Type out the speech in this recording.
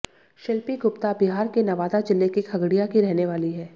शिल्पी गुप्ता बिहार के नवादा जिले के खगड़िया की रहने वाली हैं